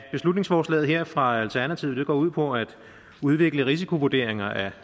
beslutningsforslaget her fra alternativet går ud på at udvikle risikovurderinger af